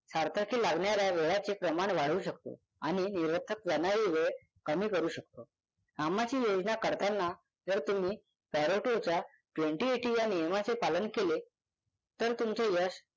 सार्थकी लागणाऱ्या वेळाचे प्रमाण वाढवू शकतो आणि निरर्थक जाणारा वेळ कमी करू शकतो. कामाची योजना करताना जर तुम्ही पॅरोटेच्या twenty eighty या नियमाचे पालन केले तर तुमचे यश